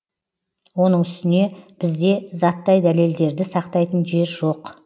оның үстіне бізде заттай дәлелдерді сақтайтын жер жоқ